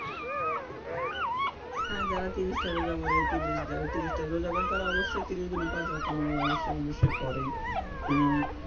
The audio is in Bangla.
হ্যাঁ যারা তিরিশ টা রোজা করে তিরিশ যারা তিরিশ টা রোজা করে তারা অবশ্যই তিশির দিনে পাঁচ ওয়াক্ত নামাজ অবশ্যই অবশ্যই পড়ে হম